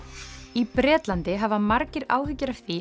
í Bretlandi hafa margir áhyggjur af því